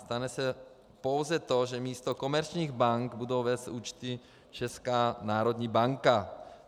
Stane se pouze to, že místo komerčních bank bude vést účty Česká národní banka.